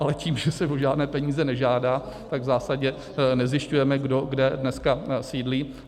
Ale tím, že se o žádné peníze nežádá, tak v zásadě nezjišťujeme, kdo kde dneska sídlí.